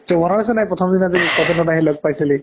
তোৰ মনত আছে নে নাই প্ৰথম দিনা যে কটনত আহি লগ পাইছিলি?